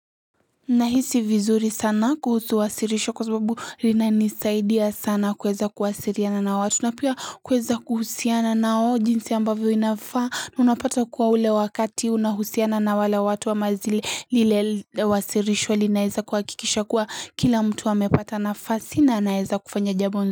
Nahisi vizuri sana kuhusu wasirisho kwa sababu linanisaidia sana kueza kuhusiriana na watu unapia kueza kuhusiana na ojinsi ambavyo inafaa na unapata kuwa ule wakati unahusiana na wala watu wa mazili lile wasirisho linaeza kuhakikisha kuwa kila mtu amepata nafasi na anaeza kufanya jambo.